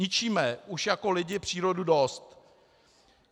Ničíme už jako lidi přírodu dost.